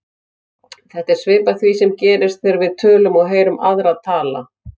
Þetta er svipað því sem gerist þegar við tölum og heyrum aðra tala.